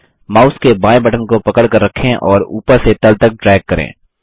mouse के बायें button को पकड़कर रखें और ऊपर से तल तक ड्रैग करें